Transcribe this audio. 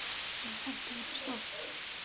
Og það gerðist oft.